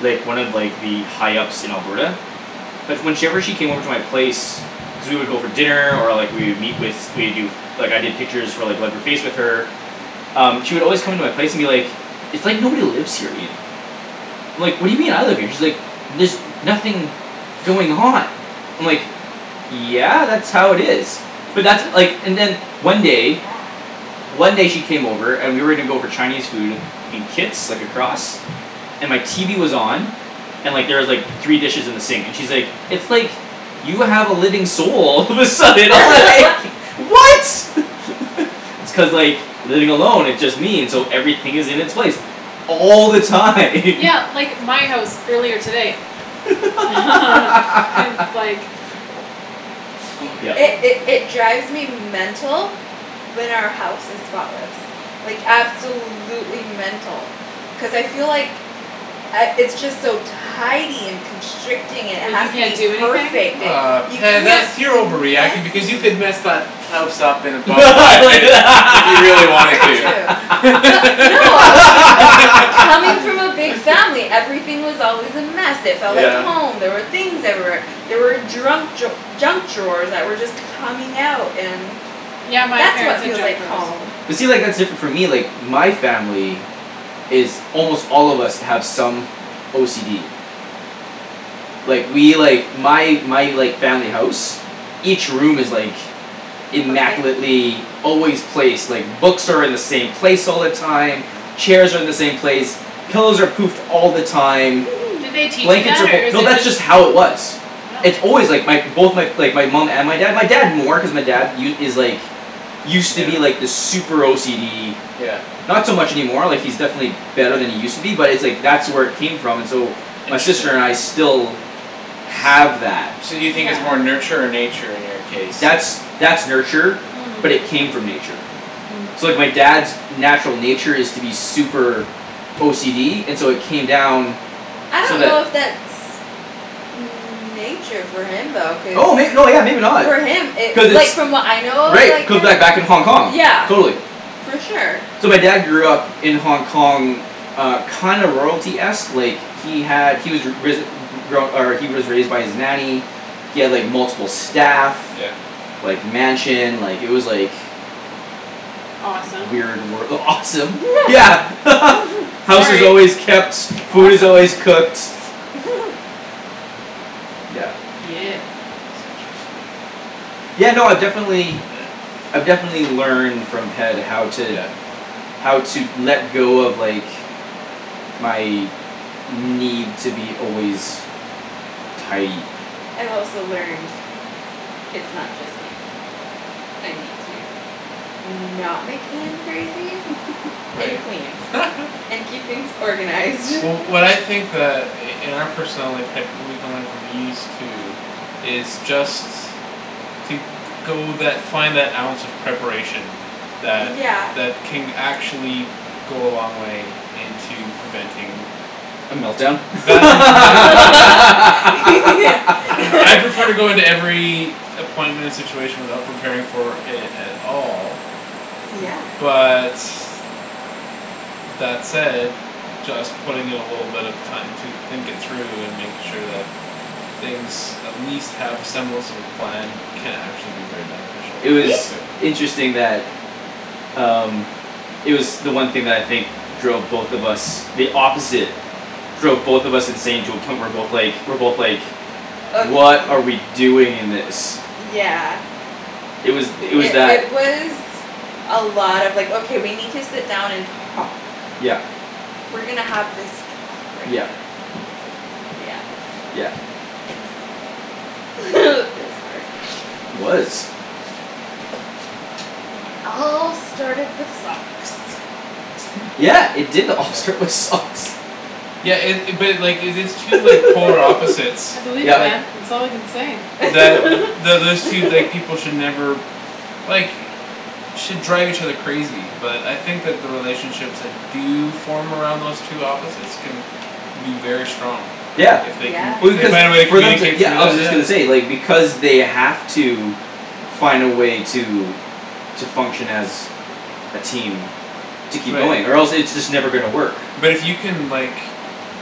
like, one of, like, the high ups in Alberta. But when she ever, she came over to my place cuz we would go for dinner, or, like, we would meet with, we'd do like, I did pictures for, like with her um, she would always come into my place and be like "It's like nobody lives here, Ian." I'm like, "What do you mean? I live here." And she's like "There's nothing going on." I'm like "Yeah, that's how it is." But that's, like, and then one day Yeah. one day she came over and we were gonna go for Chinese food in Kits, like, across. And my TV was on. And, like, there was, like, three dishes in the sink, and she's like, "It's like you have a living soul." All of a sudden I was like "What?" It's cuz, like, living along it just means so everything is in its place all the time. Yeah, like, my house earlier today. It's like Oh, It, okay. Yep. it, it drives me mental when our house is spotless. Like, absolutely mental. Cuz I feel like I, it's just so tidy and constricting, it Like has you to can't be do anything? perfect, it, Ah, you Ped, can't that's, be you're over reacting because you messy. could mess that house up in about five minutes if you really wanted Very to. true. But no. Coming from a big family, everything was always a mess, it felt like Yeah. Yep. home, there were things everywhere. There were drunk draw- junk drawers that were just coming out and Yeah, my that's parents what had feels junk like drawers. home. But see, like, that's different for me, like my family is almost all of us have some OCD. Like, we, like my, my, like, family house each room is, like Perfect. immaculately always placed, like, books are in the same place all the time Mhm. chairs are in the same place pillows are poofed all the time Did they teach you blankets that are fol- or is No, it that's just just how it was. It's Oh. always, like, my both, my, like, my mom and my dad, my dad more cuz my dad u- is like used to be, Yeah. like, this super OCD Yeah. not so much any more, like, he's definitely Yeah. better than he used to be, but it's like that's where it came from, and so my sister and I still have that. So do you think Yeah. it's more nurture or nature in your case That's, that's that's nurture Hmm. but it came from nature. Hmm. So, like, my dad's natural nature is to be super OCD, and so it came down I so don't know that if that's nature for him though, cuz oh may- no, yeah, maybe not. for him it, Cuz like, it's from what I know of, Right, it like, could him, back, back in Hong Kong, yeah. totally. For sure. So my dad grew up in Hong Kong uh, kinda royalty-esque, like he had, he was ri- risen, re- grown, or he was raised by his nanny he had, like, multiple staff Yeah. like, mansion, like, it was like Mhm. Awesome. weird wor- awesome. Yeah. House is Sorry. always kept, food is Awesome. always cooked. Yeah. Yeah. That's interesting. Yeah, no, I definitely. Yeah. I've definitely learned from Ped how to Yeah. how to let go of, like my need to be always tidy. I've also learned it's not just me. I need to not make Ian crazy and Right. clean and keep things organized. Wh- what I think that i- in our personality, Ped, we can learn from these two is just to go that, find that ounce of preparation that, Yeah. that can actually go a long way into preventing A melt down? right? I prefer to go into every appointment and situation without preparing for it at all Yeah. but that said just putting in a little bit of time to think it through and make sure that things at least have a semblance of a plan can actually be very beneficial, It I See? was discovered. interesting that um It was the one thing that I think drove both of us the opposite drove both of us insane to a point we're both like, we're both like Of m- "What are we doing in this?" yeah. It was, It, it was it, that. it was a lot of, like, "Okay, we need to sit down and talk." Yeah. "We're gonna have this talk right Yeah. now." Yeah. Yeah. Is It was hard. It was. And it all started with socks. Hm. Yeah, it did all Yeah? start with socks. Yeah it- it, but, like, if it's two, like polar opposites I believe it that Yep. man. It's all I can say. that th- those two, like, people should never like should drive each other crazy but I think that the relationships that do form around those two opposites can be very strong, like, Yeah. if they can, Yeah. if Well, they find a way to because for them to, communicate yeah, through I that. was just gonna say, like, because they have to find a way to to function as a team to keep Right. going or else it's just never gonna work. But it you can, like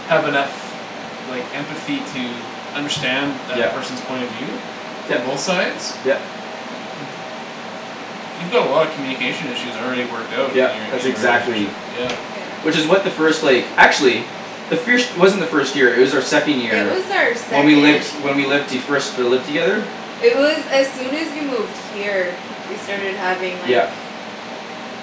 have enough like empathy to understand that Yep. person's point of view from Yep, both sides yep. you've got a lot of communication issues already worked out in Yep, your, in that's your relationship, exactly yeah. Yeah. Which is what the first, like, actually the firsht it wasn't our first year; it was our second It year was our when we second. lived, when we lived the, first, uh, lived together. It was as soon as you moved here. We started having like Yeah.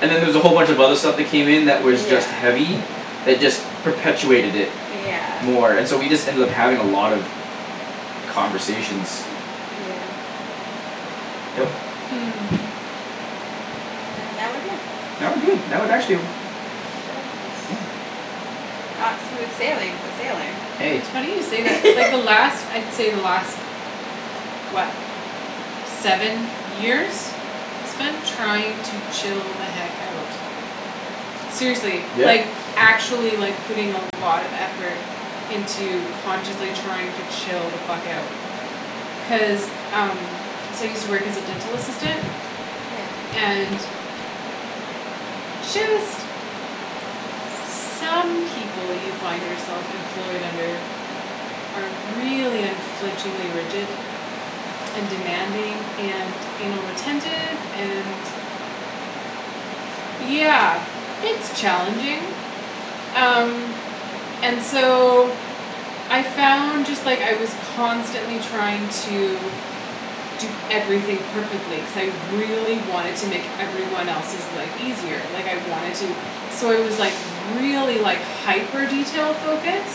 And then there was a whole bunch of other stuff that came in that was Yeah. just heavy. That just perpetuated it Yeah. more and so we just ended up having a lot of conversations. Yeah. Yep. Hmm. And now we're here. Now we're good. I would actually Not smooth sailing but sailing. Hey. It's funny you say that. Like, the last, I'd say the last what seven years I spent trying to chill the heck out. Seriously, Yeah. like actually, like, putting a lot of effort into consciously trying to chill the fuck out. Cuz um So I use to work as a dental assistant Yeah. and just some people you find yourself employed under are really unflinchingly rigid and demanding and anal retentive and yeah, it's challenging. Um. And so I found just, like, I was constantly trying to do everything perfectly cuz I really wanted to make every one else's life easier like I wanted to so I was, like, really, like hyper detail-focused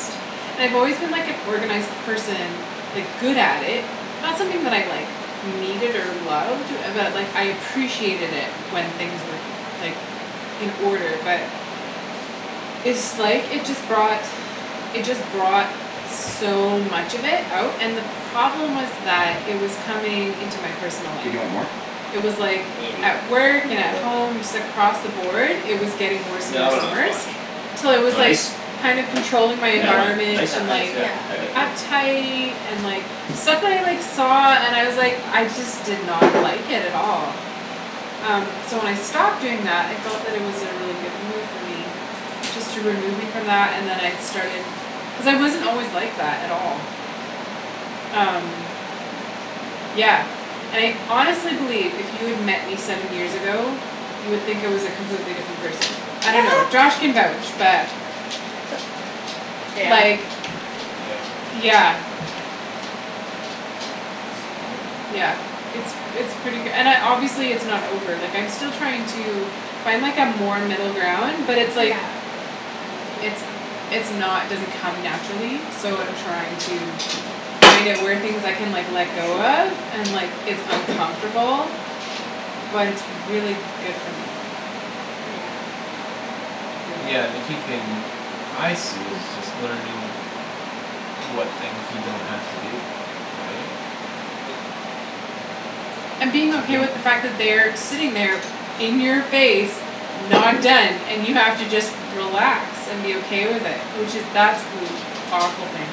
and I've always been like an organized person like, good at it not something that I, like needed or loved but, like, I appreciated it when things were, like in order but it's, like, it just brought it just brought so much of it out and the problem was that it was coming into my personal life. Dude, you want more? It was like maybe at work and at home just across the board, it was getting worse Yeah, and I'll worse have and another worse. splash. Till You I want was, like, ice? kinda controlling my Yeah, environment yeah, and, ice, like yeah, thank you. uptight and, like stuff that I, like, saw and was, like, I just did not like it at all. Um, so when I stopped doing that I felt that it was a really good move for me. Just to remove me from that and then I started Cuz I wasn't always like that at all. Um. Yeah. And I honestly believe if you had met me seven years ago you would think I was a completely different person. I don't know. Josh can vouch but Yeah. Like, Yeah. yeah. Hey, Susie bear. Yeah, it's, it's pretty k- and I, obviously it's not over, like, I'm still trying to find, like, a more middle ground but it's, like Yeah. it's, it's not, doesn't come naturally so I'm Yeah. trying to find out where things I can, like, let Oh, go shoot. of and, like, it's uncomfortable but it's really good for me. Yeah. Yeah. Yeah, and the key thing I see is just learning what things you don't have to do, right? And being okay with the fact that they are sitting there in your face not done and you have to just relax and be okay with it, which is that's li- powerful thing.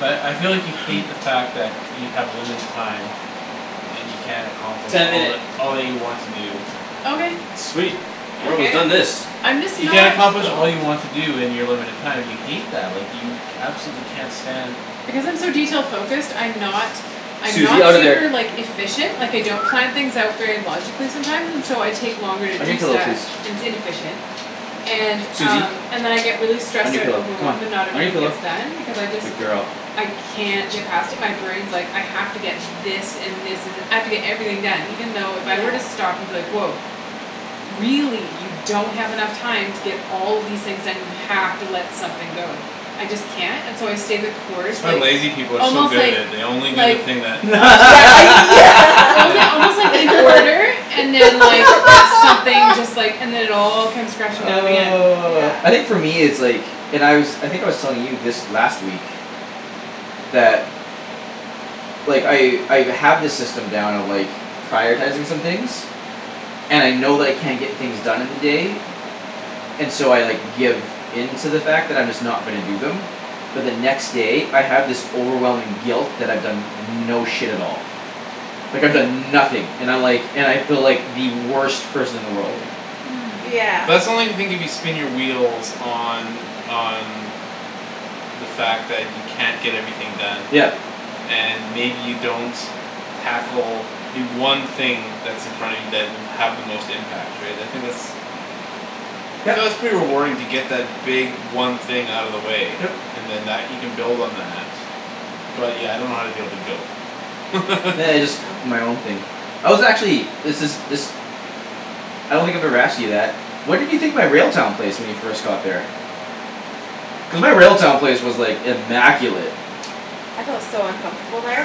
But I feel like you hate the fact that you have limited time and you can't accomplish Ten all minute. that, all that you want to do. Okay. Sweet, we're almost done this. I'm just You can't not accomplish all Cool. you want to do in your limited time and you hate that. Like, you absolutely can't stand Because I'm so detail focused, I'm not I'm not Susie, out of super, there. like, efficient Like, I don't plan things out very logically sometimes and so I Yeah. take longer to On your do pillow, stuff, please. and its inefficient. And, Susie. um, and then I get really On stressed your out and pillow, come overwhelmed and on. not On your everything pillow, gets done because I just good girl. I can't get past it my brain's like, "I have to get this and this and, I have to get everything done" even though if I were to Yeah. stop and be like, "Woah. Really you don't have enough time to get all of these things done; you have to let something go." I just can't, and so I stay the course, That's why like, lazy people are so almost, good at like it; they only do the like thing that absolutely Yeah, yeah. only Yeah. almost, like, in order and then, like something just, like, and then it all comes crashing down in the end. Yeah. Oh, I think for me it's like And I was, I think I was telling you this last week that like, I, I've, have this system down of, like prioritizing some things and I know that I can't get things done in the day and so I, like, give in to the fact that I'm just not gonna do them but the next day, I have this overwhelming guilt that I've done no shit at all like, I've Ye- done nothing and I, like, and I feel like the worst person in the world. Yeah. Hmm. Yeah. But that's only the thing if you spin your wheels on, on the fact that you can't get everything done Yep. and maybe you don't tackle the one thing that's in front of you that will have the most impact, right? I think that's Yep. So that's pretty rewarding to get that big one thing out of the way Yep. and then that, you can build on that. But, yeah, I don't know how to deal with the guilt. Nah, it's my own thing. I was actually, this is, this I don't think I've ever asked you that. What did you think my Railtown place when you first got there? Cuz my Railtown place was, like, immaculate. I felt so uncomfortable there.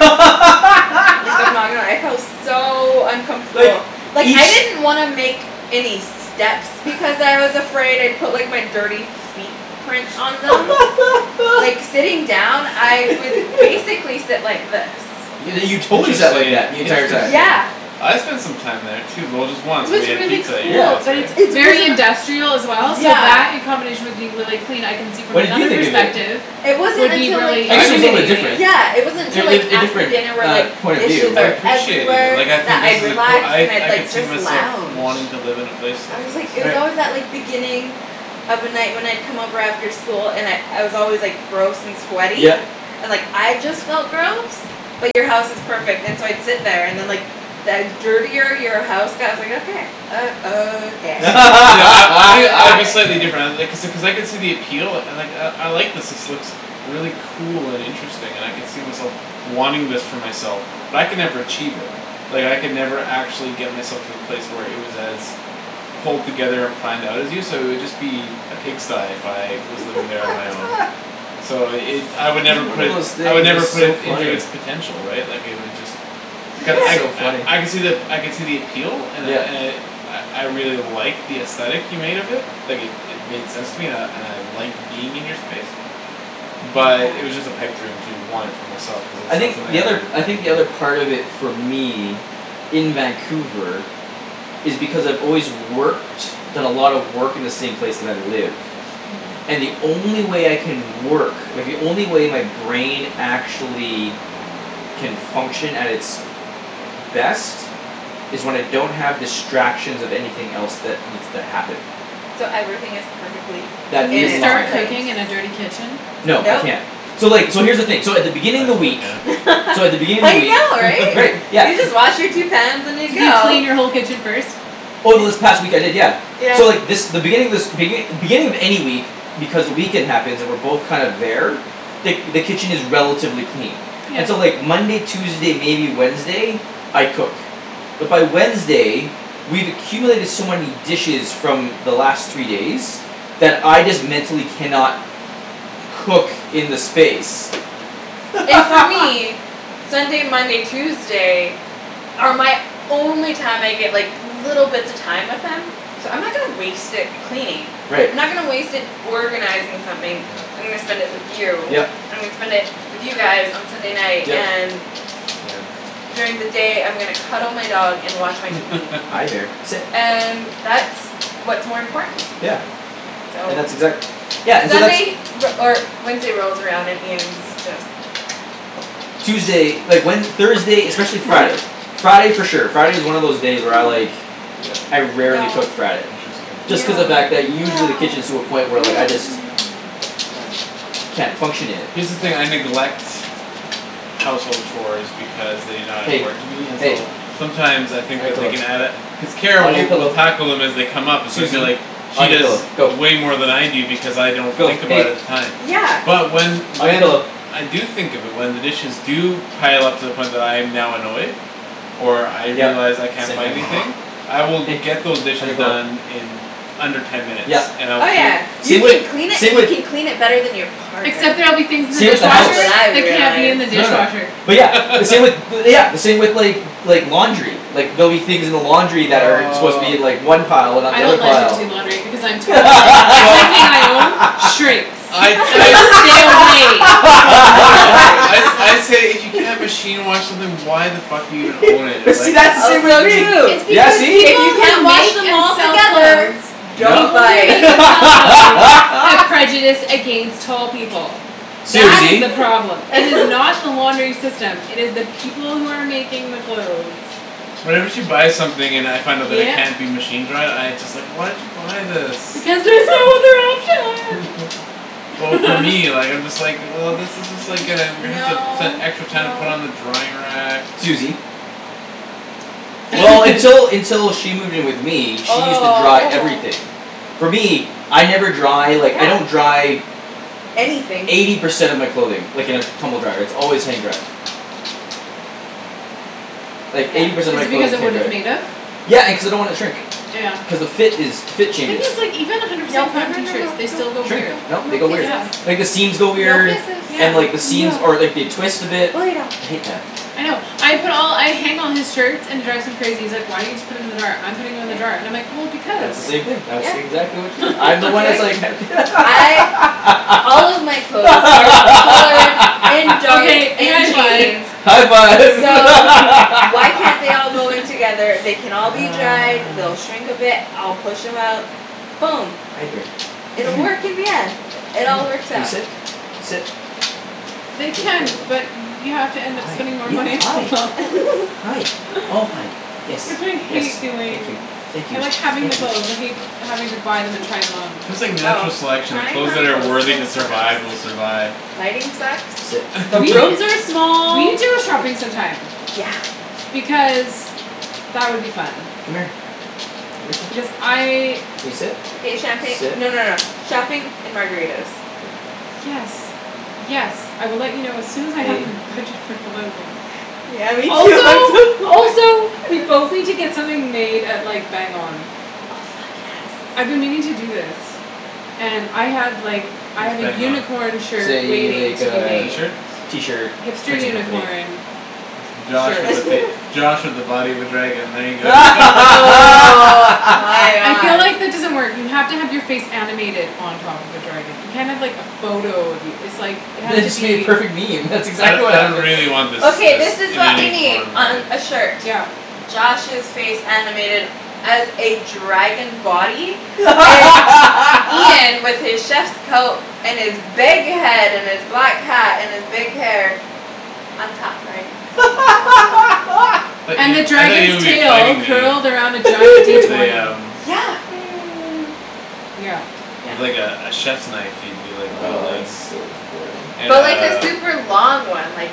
Like, I'm not gonna lie, I felt so Like, uncomfortable. Like, I each didn't want to make any steps because I was afraid I'd put, like, my dirty feet prints on them. Yeah. Like, sitting down, I would Yeah. basically sit like this. Yo- you totally sat like Interesting, that the entire time. interesting. Yeah. I spent some time there too, well, just It once when was we had really pizza at your Yeah. place, cool, but right? it's It's very wasn't industrial as well so Yeah. that in combination with being really clean I can see from What did you another think of it? perspective It wasn't would be until, like really I I guess it can was a little bit intimidating. different. Yeah, it wasn't Er, until, like a, a After different, dinner where, uh, like, point of view, dishes I are but appreciated it, Everywhere like, I that think this I'd is a coo- relax I, and I'd, I could like, see just myself lounge wanting to live in a place like I was, like, this. it was Right. always that, like, beginning of a night when I'd come over after school and I'd, I was always, like Gross and sweaty, Yep. and, like, I just Yeah. felt gross. But you're house is perfect and so I'd sit there and then, Yeah. like the dirtier your house got, I was like, "Okay." Uh, okay. See, see, I, I think I'd be slightly different I, uh Okay. like I, I could see the appeal, like, "I, I like this; this looks really cool and interesting and I could see myself wanting this for myself." But I could never achieve it. Like, I could never actually get myself to the place where it was as pulled together and planned out as you, so it'd just be a pigsty if I was living there on my own. So it, I would Every never one put of it those s- I would things never is put so it into funny. it's potential, right? Like, it would just Cu- I, That's so funny. I, I could see the ap- I could see the appeal and I, Yeah. and I I, I really like the aesthetic you made of it. Like, it, it made sense to me and I, and I liked being in your space. Yeah. But it was just a pipe dream to want it for myself cuz it's I not think something the I other, cou- I I think could do the other it. part of it for me in Vancouver is because I've always worked done a lot of work in the same place that I live Hmm. and the only way I can work like, the only way my brain actually can function at its best is when I don't have distractions of anything else that needs to happen So everything is perfectly Can that in you in its start line. place. cooking in a dirty kitchen? No, I Nope. can't. So, like, so here's the thing, so at the beginning I of the totally week can. so at the beginning of I the week know, right. Right, You yeah. just wash your two pans and you Could you go. clean your whole kitchen first? Over this Ye- past week, I did, yeah. Yeah. So, like, this, the beginning of this begin- beginning of any week because the weekend happens, and we're both kind of there the, the kitchen is relatively clean. Yeah. And so, like, Monday, Tuesday, maybe Wednesday I cook. But by Wednesday we've accumulated so many dishes from the last three days that I just mentally cannot cook in the space. And for me Sunday, Monday, Tuesday are my only time I get, like little bits of time with him so I'm not gonna waste it cleaning. Right. I'm not gonna waste it organizing something. I'm Yeah. gonna spend it with you. Yep. I'm gonna spend it with you guys on Sunday night Yep. and Yeah. during the day I'm gonna cuddle my dog and watch my TV. Hi, there, sit. And that's what's more important to me. Yeah. Yeah. So. And that's exact- Yeah, and so that's Sunday re- or Wednesday rolls around and Ian's Yeah. just Tuesday, like, when, Thursday, especially Hi. Friday Friday for sure. Friday is one of those day where I, like Yeah. I rarely No. cook Friday. Interesting. Just cuz No, the fact that no, usually no, the kitchen is to a no, Yeah. point where, no, like, I just no, no, no. Down. can't function in it. Here's the thing; I neglect household chores because they not Hey, important to me and hey. so sometimes I On think your that they pillow, can add a cuz Kara on your will, will pillow. tackle them as they come up and so I feel like Susie. she On your does pillow, go. way more than I do because I don't Go. think about it Hey. at the time. Yeah. But when, On your when pillow. I do think of it, when the dishes do pile up to the point when I'm now annoyed or I Yep, realize I can't same find thing. anything I will get those Hey, on dishes your pillow. done in under ten minutes Yep, and I will Oh, clean yeah. You same with, can clean it same and you with can clean it better than your partner. Except there'll be things in the same with the That's house. what dishwasher I that can't be in realized. the No, no. dishwasher. But yeah, the same with bu- yeah, the same with, like like, laundry. Like, there'll be things in the laundry that are supposed to be in, Aw like, one pile and not I the other don't let him pile. do laundry because I'm tall and Well everything I own shrinks. I, I'm I like, "Stay away from the laundry." I sa- I say, "If you can't machine wash something why the fuck are you gonna own it?" But see, Like that's the same Also with true It's me. Yeah, because see? if people you can't who wash make them and all sell together. clothes Don't No. people buy who make it. and sell clothes have prejudice against tall people. That is Susie. the problem. It is not the laundering system; it is the people who are making the clothes. Whenever she buys something and I find out that it Yep. can't be machine-dried, I just, like, "Why did you buy this?" Because there's no other option. Well, for me, like, I'm just like, "Well, this is just, like, uh we're gonna have to spend No, extra time to put it no. on the drying rack." Susie. See Well, until, until she moved in with me, she used to dry Oh, oh. everything. For me, I never dry, like, I don't Yeah. dry Anything. eighty percent of my clothing like, in a tumble dryer; its always hang-dried. Like, eighty Yeah. percent Is of it my because clothing is of what it's made of? hang-dried. Yeah, and cuz I don't wanna shrink. Yeah. Cuz the fit is, the fit Thing changes. is, like, even a hundred Nope, percent no, cotton no, no, t-shirts, no. Don't, they still go Shrink. weird. don't, No, no they go weird. kisses. Yeah. Like the seams go No weird kisses. Yeah. and, like, the seams, No. or, like, they twist a bit. Go lay down. I hate that. I know. I put all, I hang all his shirts, and it drives him crazy; he's like, "Why don't you just put them in the dryer? I'm putting them in the dryer" and I'm like, "Well, S- because." that's the same thing; that Yeah, yeah. exactly what you do. I'm the one Be that's like like ha- I All of my clothes are colored and dark Okay, and high five. jeans. High five. So why can't they all go in together? They can all be dried, Ah. they'll shrink a bit, I'll push 'em out. Boom. Hi, bear, It'll come work here. in the end. It all Come here. works Can you out. sit? Sit. They Good can, girl. but you have to end up Hi, spending more yeah, money on hi. clothes. Hi, oh, hi. Yes, Which I hate yes, thank doing. you. Thank I you, like having the thank you. clothes. I hate having to buy them and try them on. It's just like Oh, natural selection; the tying clothes on that are toes is the worthy to worst. survive will survive. Lighting sucks. Sit. The We, rooms are we small, need to go it shopping some time. Yeah. Because that would be fun. Come here. Because I Can you sit? Okay, champagne, Sit. no, no, no, shopping and margaritas. Good girl. Yes. Yes, I will let you know as soon as I have Hey. a budget for clothing. Yeah, me too. I'm so Also, poor. also we both need to get something made at, like Bang On. Oh, fuck, I've yes. been meaning to do this. And I have, like I What's have a Bang On? unicorn shirt Say, waiting like to be uh, made. t-shirts? t-shirt Hipster printing company. unicorn It's Josh shirt. with a fac- it's Josh with a body of a dragon, there you go. Oh, my I feel god. like that doesn't work. You have to have your face animated on top of a dragon. You can't have like a photo of you. It's like, it has Then to it should be a be perfect meme; that's I don- exactly what I don't happens. really want this, Okay, this this is in what we any need form, really. on a shirt. Yep. Josh's face animated as a dragon body and Ian with his chef's coat and his big head and his black hat and his big hair on top riding his I thought And the you, I thought you would dragon's be tail fighting me, curled around a giant D with a twenty. um Yeah. Yeah. Yeah. with, like, a, a chiefs knife you'd be Oh, wielding. that's so funny. And But like a uh super long one, like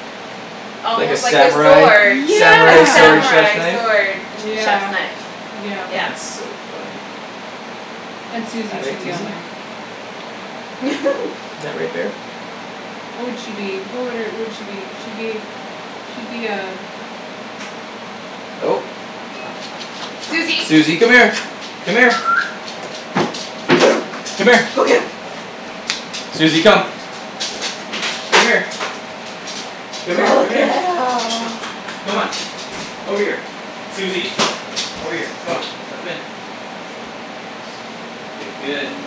Like a almost like a sword. samurai? A Samurai sword Yeah. chef's samurai knife? sword. A che- chef's Yeah, knife, yeah. yeah. That's so funny. And All Susie should right, be on Susie. there. Is that right, bear? What would she be? What would her, would she be? She'd be she'd be a Oh. Susie. Susie, come here. Come here. Go. Come here. Go get 'em. Susie, come. Come here. Come here, Go come here. get 'em. Come on. Over here. Susie. Over here. Come on. Let them in.